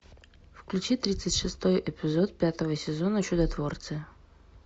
включи тридцать шестой эпизод пятого сезона чудотворцы